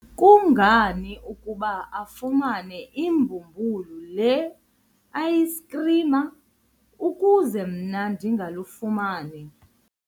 kungani ukuba afumane ibhumbulu le-ayisikhrim ukuze mna ndingalifumani?